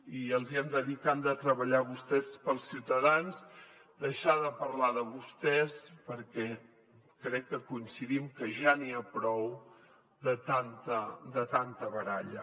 i els hi hem de dir què han de treballar vostès per als ciutadans deixar de parlar de vostès perquè crec que coincidim que ja n’hi ha prou de tanta baralla